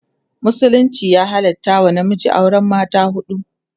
musulunci ya halatta wa namiji auran mata huɗu